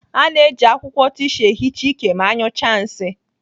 A na-eji akwụkwọ tisu ehicha ike ma anyụchaa nsị.